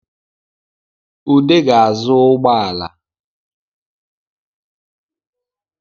Ude ga-azụ ụgbọala